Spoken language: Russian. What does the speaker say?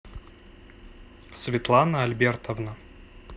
светлана альбертовна